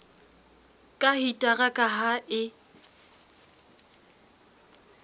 ka hitara ka ha e